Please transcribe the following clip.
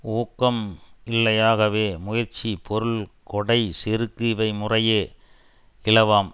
ஊக்கம் இல்லையாகவே முயற்சி பொருள் கொடை செருக்கு இவை முறையே இலவாம்